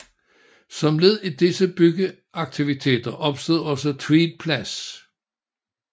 Som led i disse byggeaktiviteter opstod også Tved Plads